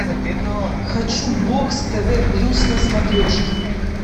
хочу бокс тв плюс на смотрешке